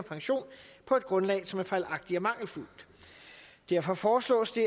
og pension på et grundlag som er fejlagtigt og mangelfuldt derfor foreslås det